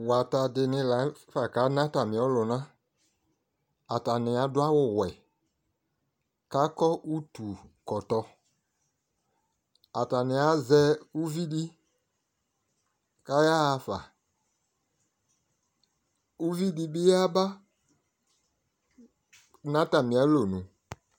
wata di ni lafa ka na atami ɔlona atani ado awu wɛ ko akɔ utu kɔtɔ atani azɛ uvi di ko aya ɣa fa uvi di bi yaba no atami alɔnu